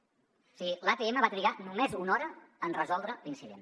o sigui l’atm va trigar només una hora en resoldre l’incident